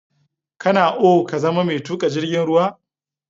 Kana ao ka zama mai tuƙa jirgin ruwa?